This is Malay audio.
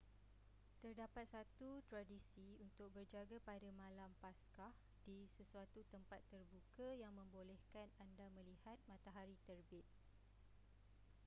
terdapat satu tradisi untuk berjaga pada malam paskah di sesuatu tempat terbuka yang membolehkan anda melihat matahari terbit